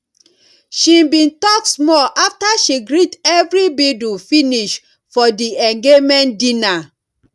she bin talk small after she greet everibidu finish for di engaement dinner